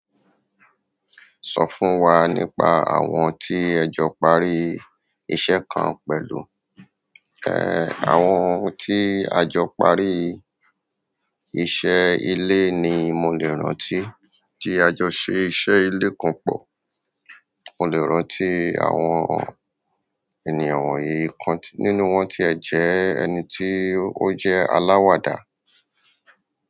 Sọ fún wa nípa àwọn tí ẹjọ parí iṣẹ́ kan pẹ̀lú? Ehn, àwọn tí àjọ parí iṣẹ́ ìle ni mo le rántí. Tí àjọ ṣe iṣẹ́ ìle kan pọ̀, mo le rántí àwọn ènìyàn wọ̀nyí ikàn nínú wọn tí ẹ jẹ́ ẹni tí ó jẹ́ aláwàdà.